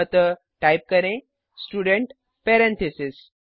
अतः टाइप करें student parentheses